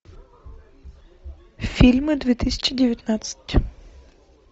фильмы две тысячи девятнадцать